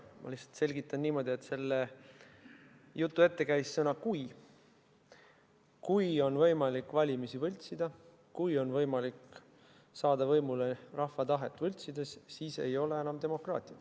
Ma lihtsalt selgitan niimoodi, et selle jutu ette käis sõna "kui": kui on võimalik valimisi võltsida, kui on võimalik saada võimule rahva tahet võltsides, siis ei ole enam demokraatiat.